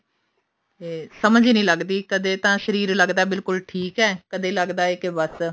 ਤੇ ਸਮਝ ਹੀ ਨੀ ਲੱਗਦੀ ਕਦੇ ਤਾਂ ਸਰੀਰ ਲੱਗਦਾ ਬਿਲਕੁਲ ਠੀਕ ਹੈ ਕਦੇ ਲੱਗਦਾ ਹੈ ਕੀ ਬੱਸ